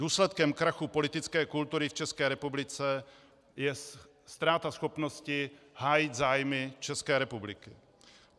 Důsledkem krachu politické kultury v České republice je ztráta schopnosti hájit zájmy České republiky.